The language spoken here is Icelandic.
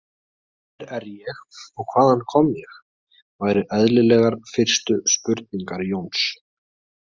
Hver er ég og hvaðan kom ég, væru eðlilegar fyrstu spurningar Jóns.